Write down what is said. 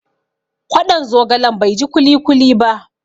Kwaɗon zogalen bai ji kuli kuli ba.